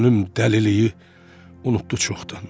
Könlüm dəliliyi unutdu çoxdan.